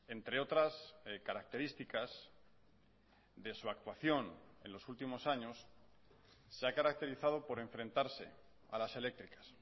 entre otras características de su actuación en los últimos años se ha caracterizado por enfrentarse a las eléctricas